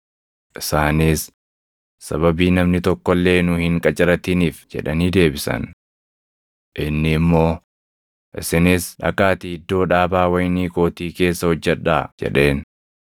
“Isaanis, ‘Sababii namni tokko illee nu hin qacaratiniif’ jedhanii deebisan. “Inni immoo, ‘Isinis dhaqaatii iddoo dhaabaa wayinii kootii keessa hojjedhaa’ jedheen.